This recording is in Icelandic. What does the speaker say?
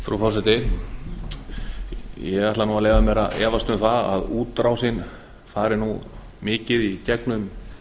frú forseti ég ætla mér nú að efast um að útrásin fari nú mikið í gegnum